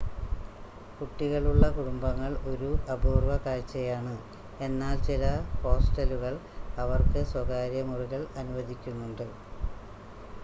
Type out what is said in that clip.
കുട്ടികളുള്ള കുടുംബങ്ങൾ ഒരു അപൂർവ കാഴ്ചയാണ് എന്നാൽ ചില ഹോസ്റ്റലുകൾ അവർക്ക് സ്വകാര്യ മുറികൾ അനുവദിക്കുന്നുണ്ട്